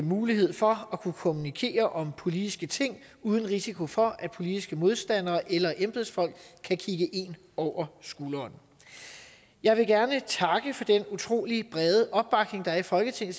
mulighed for at kunne kommunikere om politiske ting uden risiko for at politiske modstandere eller embedsfolk kan kigge en over skulderen jeg vil gerne takke for den utrolig brede opbakning der er i folketinget